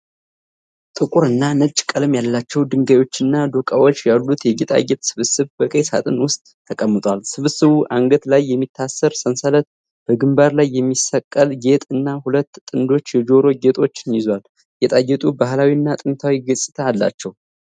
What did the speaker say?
ጥቁር እና ነጭ ቀለም ያላቸው ድንጋዮችና ዶቃዎች ያሉት የጌጣጌጥ ስብስብ በቀይ ሳጥን ውስጥ ተቀምጧል። ስብስቡ አንገት ላይ የሚታሰር ሰንሰለት፣ በግንባር ላይ የሚሰቀል ጌጥ እና ሁለት ጥንድ የጆሮ ጌጦችን ይዟል። ጌጣጌጡ ባሕላዊ እና ጥንታዊ ገጽታ አለው።